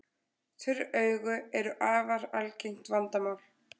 Þurr augu eru afar algengt vandamál.